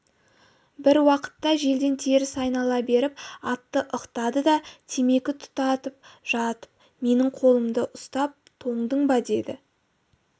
бір уақытта желден теріс айнала беріп атты ықтады да темекі тұтатып жатып менің қолымды ұстап тоңдың ба деді